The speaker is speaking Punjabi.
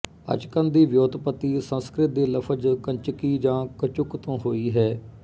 ਅਚਕਨ ਦੀ ਵਿਉਤਪਤੀ ਸੰਸਕ੍ਰਿਤ ਦੇ ਲਫ਼ਜ਼ ਕੰਚਕੀ ਯਾ ਕਚੁੱਕ ਤੋਂ ਹੋਈ ਹੈ